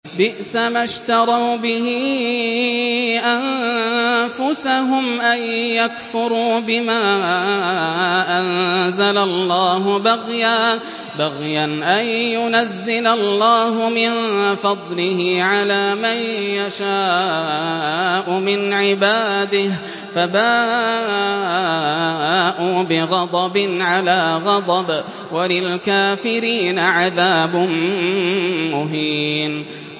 بِئْسَمَا اشْتَرَوْا بِهِ أَنفُسَهُمْ أَن يَكْفُرُوا بِمَا أَنزَلَ اللَّهُ بَغْيًا أَن يُنَزِّلَ اللَّهُ مِن فَضْلِهِ عَلَىٰ مَن يَشَاءُ مِنْ عِبَادِهِ ۖ فَبَاءُوا بِغَضَبٍ عَلَىٰ غَضَبٍ ۚ وَلِلْكَافِرِينَ عَذَابٌ مُّهِينٌ